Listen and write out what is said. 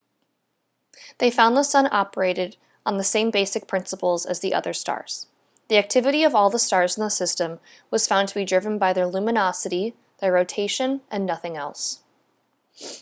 they found the sun operated on the same basic principles as other stars the activity of all stars in the system was found to be driven by their luminosity their rotation and nothing else